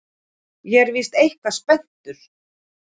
Ég er víst eitthvað spenntur.